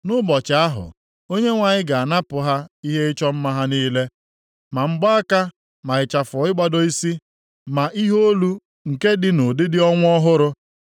Nʼụbọchị ahụ, Onyenwe anyị ga-anapụ ha ihe ịchọ mma ha niile, ma mgbaaka, ma ịchafọ ịgbado isi, ma ihe olu nke dị nʼụdịdị ọnwa ọhụrụ,